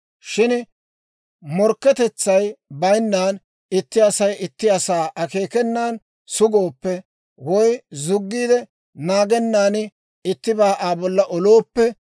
« ‹Shin morkketetsay bayinnan, itti Asay itti asaa akeekenan sugooppe, woy zuggiid naagennan ittibaa Aa bolla olooppe,